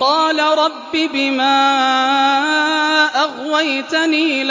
قَالَ رَبِّ بِمَا أَغْوَيْتَنِي